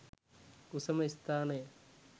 උසම ස්ථානය